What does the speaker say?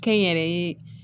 Kɛ n yɛrɛ ye